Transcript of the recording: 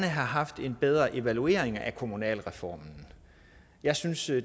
have haft en bedre evaluering af kommunalreformen der synes jeg